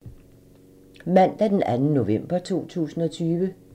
Mandag d. 2. november 2020